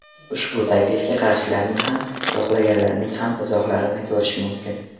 Ushbu taklifga qarshilarning ham, yoqlaganlarning ham izohlarini ko‘rish mumkin.